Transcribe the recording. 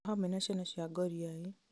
o hamwe na ciana cia ngũriai